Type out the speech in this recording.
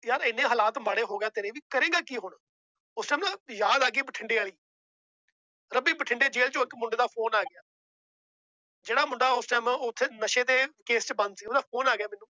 ਯਾਰ ਇੰਨੇ ਹਾਲਾਤ ਮਾੜੇ ਹੋ ਗਏ ਆ ਤੇਰੇ ਵੀ ਕਰੇਂਗਾ ਕੀ ਹੁਣ ਉਸ time ਯਾਦ ਆ ਗਈ ਬਠਿੰਡੇ ਵਾਲੀ ਰਵੀ ਬਠਿੰਡੇ ਜੇਲ ਚੋਂ ਇੱਕ ਮੁੰਡੇ ਦਾ phone ਆ ਗਿਆ ਜਿਹੜਾ ਮੁੰਡਾ ਉਸ time ਉੱਥੇ ਨਸ਼ੇ ਦੇ case ਚ ਬੰਦ ਸੀ ਉਹਦਾ phone ਆ ਗਿਆ ਮੈਨੂੰ